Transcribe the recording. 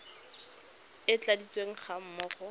e e tladitsweng ga mmogo